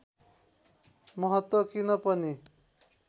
महत्त्व किन पनि